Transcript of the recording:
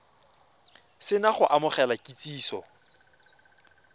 se na go amogela kitsiso